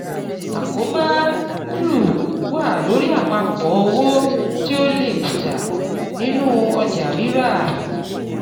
Àkóbá jù wà lórí àpapọ̀ owó tí o lè kùtà nínú ọjà rírà.